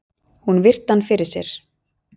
Hún virti hann fyrir sér.